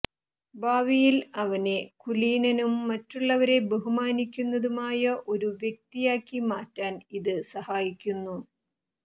ഭാവിയിൽ അവനെ കുലീനനും മറ്റുള്ളവരെ ബഹുമാനിക്കുന്നതുമായ ഒരു വ്യക്തിയാക്കി മാറ്റാൻ ഇത് സഹായിക്കുന്നു